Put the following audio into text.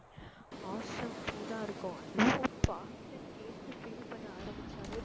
awesome feel ஆ இருக்கும் அதுவும் பாட்டை கேட்டு feel பண்ண ஆரம்பிச்சாலே